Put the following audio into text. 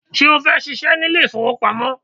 Ṣé o fẹ́ ṣíṣe ní ilé ìfowópamọ́?